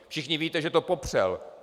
Všichni víte, že to popřel.